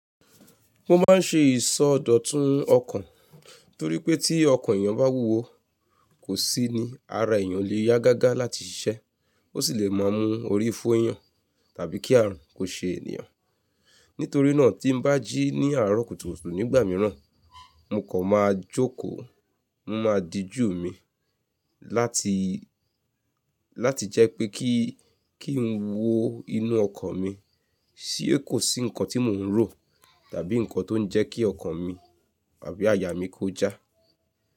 Mo máa ń ṣe ìsọdọ̀tun ọkàn torí pé tí ọkàn èèyàn bá wúwo, kò sí ni ara èèyàn o lè yá gágá láti ṣiṣẹ́, ó sì le máa mú orí fo èèyàn tàbí kí àrùn kó ṣe eniyàn. Nítorí náà tí n bá jí ní àárọ̀ kùtùkùtù nígbà mìíràn, mo kan máa jókòó, mo máa dijú mi láti, láti jẹ́ pé kí, kí n wó inú ọkàn mi ṣé kò sí nǹkan tí mò ń rò tàbí nǹkan tó ń jẹ́ kí ọkàn mi àbí àyà mi kó já.